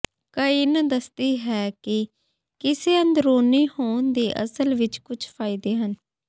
ਕਇਨ ਦੱਸਦੀ ਹੈ ਕਿ ਕਿਸੇ ਅੰਦਰੂਨੀ ਹੋਣ ਦੇ ਅਸਲ ਵਿੱਚ ਕੁਝ ਫਾਇਦੇ ਹਨ